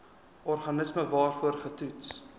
organisme waarvoor getoets